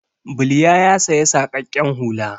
Bilya ya saya saƙaƙƙen hula.